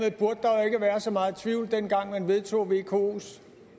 i så meget tvivl dengang man vedtog vkos